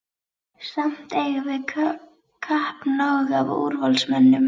Samt eigum við kappnóg af úrvalsmönnum.